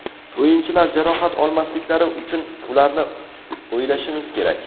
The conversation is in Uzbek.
O‘yinchilar jarohat olmasliklari uchun ularni o‘ylashimiz kerak.